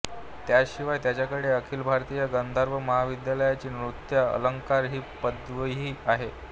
त्याशिवाय त्यांच्याकडे अखिल भारतीय गांधर्व महाविद्यालयाची नृत्य अलंकार ही पदवीही आहे